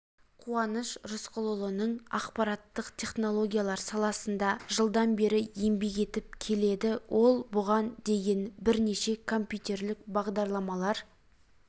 қуаныш тұрсынқұлұлының ақпараттық технологиялар саласында жылдан бері еңбек етіп келеді ол бұған дейін бірнеше компьютерлік бағдарламалар